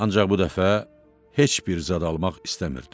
Ancaq bu dəfə heç bir zad almaq istəmirdim.